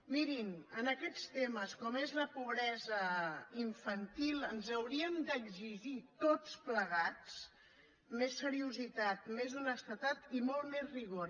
mirin en aquests temes com és la pobresa infantil ens hauríem d’exigir tots plegats més seriositat més honestedat i molt més rigor